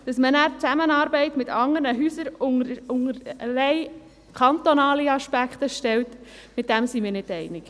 Dass man nachher die Zusammenarbeit verschiedener Häuser unter rein kantonale Aspekte stellt, darin gehen wir nicht einig.